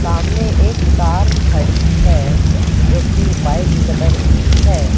सामने एक कार खड़ी है जो कि वाइट कलर की है।